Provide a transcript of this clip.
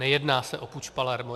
Nejedná se o puč Palermo.